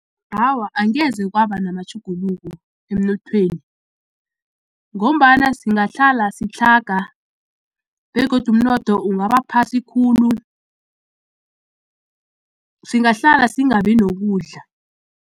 Awa, angeze kwaba namatjhuguluko emnothweni ngombana singahlala sitlhaga begodu umnotho ungabaphasi khulu singahlala singabi nokudla.